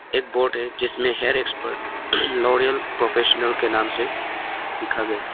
एक बोट है जिसमें हेयर एक्सपर्ट लॉरिअल प्रोफेशनल के नाम से लिखा गया है।